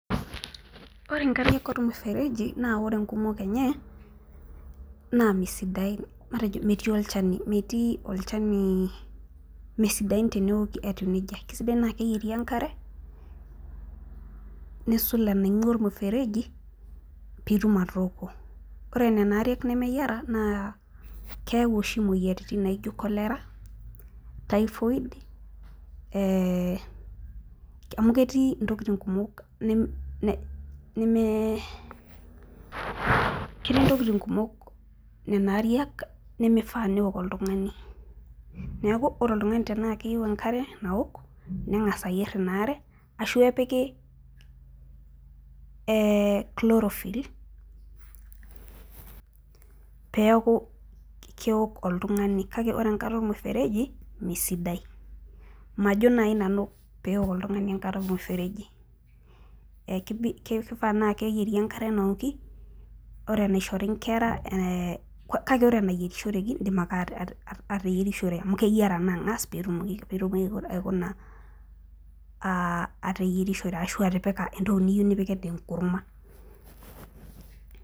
Ore inkariak olmufereji naa ore nkumok enye naa misidain, matejo metii olchani. metii olchani misidain teneoki eitu nejia, kisidai naa keyieri enkare, nisul enaingua olmufereji pee itum atooko. ore Nena Arial nemeyiara naa keyau oshi imoyiaritin naijo cholera, typhoid ee ketii ntokitin kumok neme .ketii ntokitin kumok Nena Arial nemeifaa neok oltungani. neeku ore oltungani tenaa keyieu enkare naok nengas ayier Ina are ashu epiki ee chlorophyll peeku keok oltungani kake ore enkare olmufereji, misidain. majo naaji nanu peok oltungani enkare olmufereji. ekifaa naa keyieri enkare naoki. ore enaishori nkera. kake ore enayorishoreki idim ake ateyierishore amu amu keyiara naa angas pee etum aikuna ateyierishore ashu atipika entoki niyieu nipik anaa enkurma.